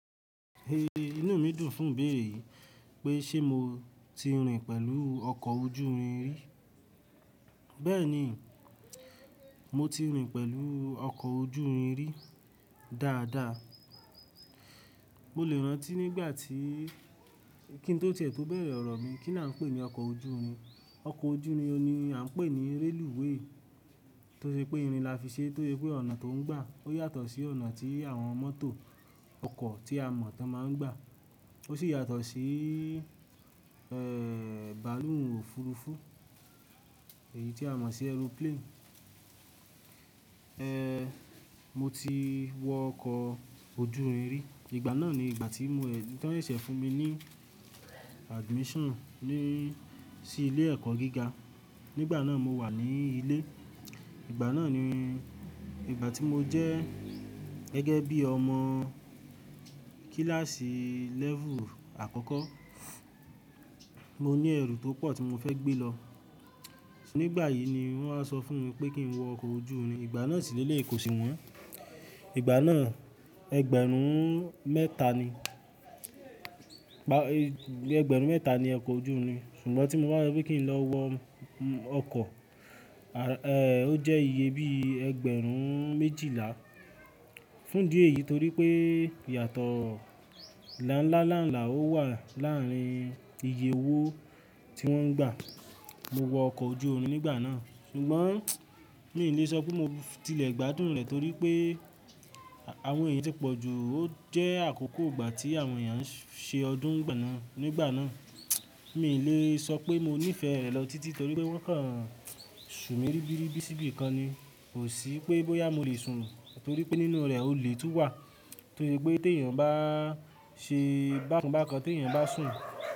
Ehn, inú mi dùn fún béèrè pé ṣe mo ti rìn pẹ̀lú ọkọ̀ ojú irin rí. Bẹ́ẹ̀ni, mo ti rìn pẹ̀lú ọkọ̀ ojú irin rí dáadáa. Mo lè rántí nígbà tí kí n tó tíẹ̀ tó bẹ̀rẹ̀ ọ̀rọ̀ mi, kí ni a ń pè ní ọkọ̀ ojú irin? Ọkọ̀ ojú irin ni a ń pè ní rélùwé tó ṣe pé irin la fi ṣe, tó ye pé ọ̀nà tó ń gbà ó yàtọ̀ sí ọ̀nà tí àwọn mọ́tò ọkọ̀ tí a mọ̀ tó máa ń gbà. Ó sì yàtọ̀ sí, eh, bàálù ọ̀furufú èyí tí a mọ̀ sí ẹrúplénì. Ehn, mo ti wọ ọkọ̀ ojú irin rí. Ìgbà náà ni ìgbà tí wọn yèṣẹ́ fún mi ní admission ní sí ilé ẹ̀kọ́ gíga. Nígbà náà mo wà ní ilé. Ìgbà náà ni ìgbà tí mo jẹ́ gẹ́gẹ́ bí ọmọ kíláàsì level àkọ́kọ́. Mo ní ẹrú tó pọ̀ tí mo fẹ́ gbé lọ. Nígbà yìí ni wọ́n á sọ fún mi pé kí n wọ ọkọ̀ ojú irin. Ìgbà náà sì lẹ́leyi kọ̀sì wọ́n. Ìgbà náà ẹgbẹ̀rún mẹ́ta ni, ẹgbẹ̀rún mẹ́ta ni ọkọ̀ ojú irin. Ṣùgbọ́n tí mo bá so pé kí n lọ wọ ọkọ̀, eh, ó jẹ́ iye bí ẹgbẹ̀rún méjìlá. Fún dí ẹ̀yìí torí pé ìyàtọ̀ ńláńláńlá ó wà láàrin iye owó tí wọ́n ń gbà. Mo wọ ọkọ̀ ojú irin nígbà náà. Ṣùgbọ́n mi ò lè sọ pé mo tilẹ̀ gbádùn rẹ̀ torí pé àwọn èèyàn tí pọ̀jù. Ó jẹ́ àkókò ìgbà tí àwọn èèyàn ṣe ọdún nígbà náà. Nígbà náà mi ò lè sọ pé mo nífẹ̀ẹ́ rẹ̀ lọ títí torí pé wọ́n kan sù mí ribiribi síbi kan ni. Kò sí pé bóyá mo lè sùn torí pé nínú rẹ̀ olè tún wà. Torí pé tí èèyàn bá ṣe bákan bákan tí èèyàn bá sùn.